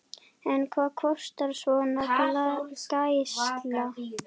En hvað kostar svona gæsla?